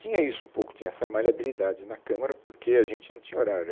Tinha isso um pouco, tinha essa maleabilidade na Câmara porque a gente não tinha horário.